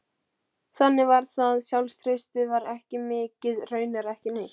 Þannig var það, sjálfstraustið var ekki mikið, raunar ekki neitt.